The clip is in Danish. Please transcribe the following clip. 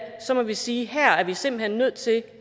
må vi sige at her er vi simpelt hen nødt til